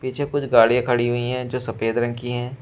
पीछे कुछ गाड़िया खड़ी हुई है जो सफेद रंग की है।